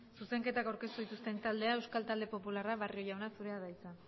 zuzenketak aurkeztu dituzten taldea euskal talde popularra barrio jauna zurea da hitza